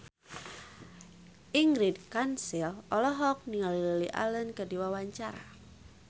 Ingrid Kansil olohok ningali Lily Allen keur diwawancara